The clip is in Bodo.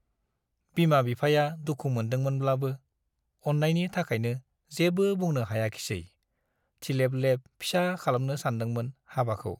बिमा बिफाया दुखु मोनदों मोनब्लाबो अन्नायनि थाखायनो जेबो बुंनो हायाखिसै थिलेब लेब फिसा खालामनो सानदोंमोन हाबाखौ ।